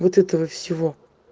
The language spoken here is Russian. вот этого всего